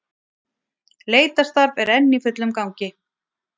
Leitarstarf er enn í fullum gangi